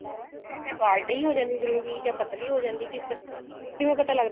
ਮੈਂ ਕਿਹਾ ਜਾ ਗਾੜੀ ਹੋ ਜਾਂਦੀ gravy ਜਾਂ ਪਤਲੀ ਹੋ ਜਾਂਦੀ ਕਿਵੇ